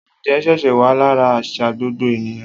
Oúnjẹ ṣíṣe wa lára àṣà gbogbo ènìyàn